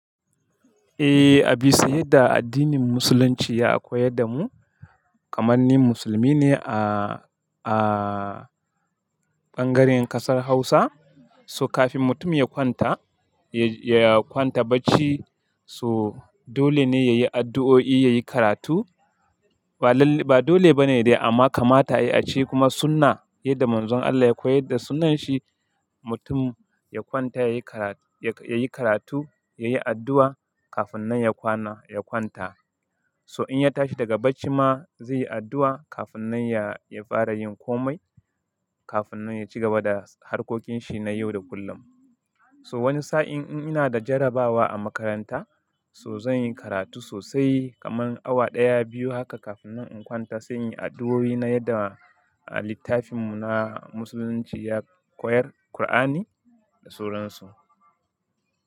Eh, a bisa yadda addinin Musulunci ya koyar da mu, kamar ni musulmi ne a, a ɓangaren ƙasar Hausa. So kafin mutum ya kwanta, ya kwanta bacci so dole ne ya yi addu'o'i, ya yi karatu. Ba dole bane dai amma kamata ya yi a ce kuma sunna yadda Manzon Allah ya koyar da sunnan shi, mutum ya kwanta ya yi karatu, ya yi addu'a kafin nan ya kwana, ya kwanta. So in ya tashi daga bacci ma zai yi addu'a kafin nan ya fara yin komai, kafin nan ya cigaba da harkokin shi na yau da kullum. So wani sa'in in ina da jarabawa a makaranta, so zan yi karatu sosai kamar awa ɗaya, biyu haka kafin nan in kwanta, sai in yi addu'o'i na yadda a littafinmu na Musulunci ya koyar Kur'ani da suran su.